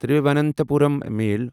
Thiruvananthapuram میل